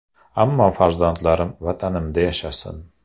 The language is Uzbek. Ammo farzandlarim Vatanimda yashasin”.